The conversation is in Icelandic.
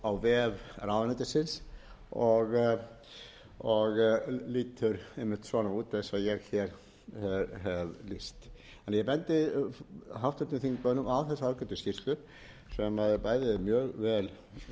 á vef ráðuneytisins og lítur einmitt svona út eins og ég hef lýst ég bendi háttvirtum þingmönnum á þessa ágætu skýrslu sem er bæði mjög vel